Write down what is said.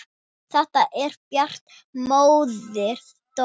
Þegar Bjarki bróðir dó.